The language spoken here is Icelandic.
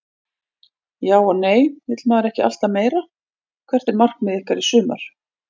Já og nei vill maður ekki alltaf meira Hvert er markmið ykkar í sumar?